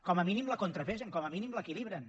com a mínim la contrapesen com a mínim l’equilibren